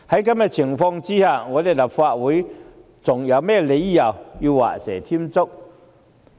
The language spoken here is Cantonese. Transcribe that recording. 在此情況下，立法會還有何理由畫蛇添足？